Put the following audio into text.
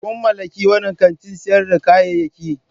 Kun mallaki wannan kantin sayar da kayayyaki?